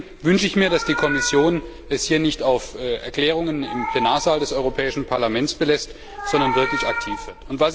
Deswegen wünsche ich mir, dass es die Kommission hier nicht bei Erklärungen im Plenarsaal des Europäischen Parlaments belässt, sondern wirklich aktiv wird.